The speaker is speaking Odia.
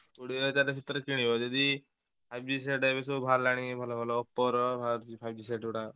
କୋଡ଼ିଏ ହଜାର ଭିତରେ କିଣିବ ଯଦି Five G set ସବୁ ବାହାରିଲାଣି ଭଲ ଭଲ Oppo ର ବାହାରୁଛି Five G set ଗୁଡ଼ାକ।